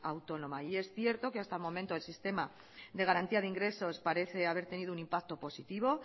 autónoma y es cierto que hasta el momento el sistema de garantía de ingresos parece haber tenido un impacto positivo